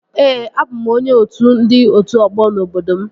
Ee, abụ m onye otu ndị otu ọgbọ n'obodo m